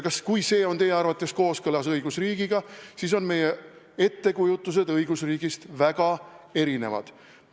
Kui see on teie arvates kooskõlas õigusriigi põhimõtetega, siis on meie ettekujutused õigusriigist väga erinevad.